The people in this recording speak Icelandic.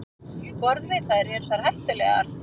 Borðum við þær, eru þær hættulegar?